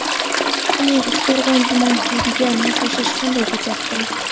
Uning Uchqo‘rg‘on tuman hududiga moslashishi qanday kechyapti?